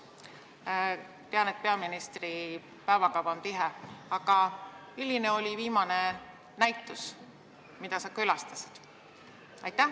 Ma tean, et peaministri päevakava on tihe, aga milline oli viimane näitus, mida sa külastasid?